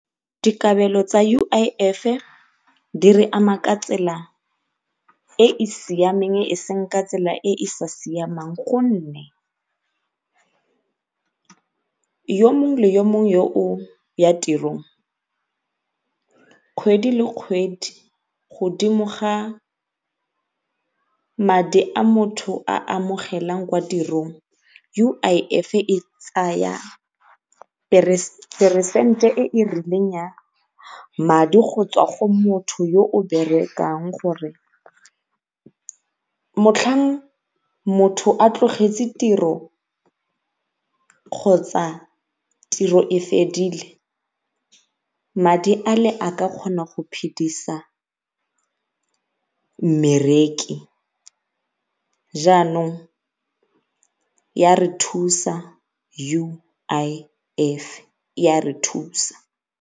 Dikabelo tsa U_I_F di re ama ka tsela e e siameng e seng e e sa siamang gonne, yo mongwe le yo mongwe yo o ya tirong kgwedi le kgwedi godimo ga madi a motho a amogelang kwa tirong U_I_F e tsaya peresente e e rileng ya madi go tswa go motho yo o berekang gore motlhang motho a tlogetse tiro kgotsa tiro e fedile madi ale a ka kgona go phidisa mmereki jaanong ya re thusa U_I_F, e a re thusa.